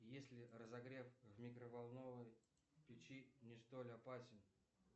если разогрев в микроволновой печи не столь опасен